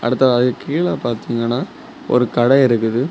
அடுத்த ஆ கீழ பாத்தீங்கன்னா ஒரு கடை இருக்குது.